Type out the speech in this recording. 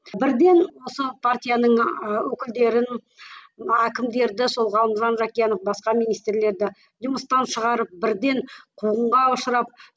бірден осы партияның ы өкілдерін мына әкімдерді сол ғалымжан жақиянов басқа министрлерді жұмыстан шығарып бірден қуғынға ұшырап